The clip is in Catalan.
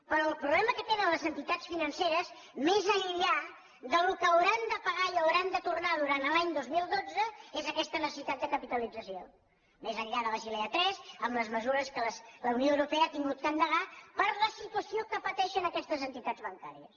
però el problema que tenen les entitats financeres més enllà del que hauran de pagar i hauran de tornar durant l’any dos mil dotze és aquesta necessitat de capitalització més enllà de basilea iii amb les mesures que la unió europea ha hagut d’endegar per la situació que pateixen aquestes entitats bancàries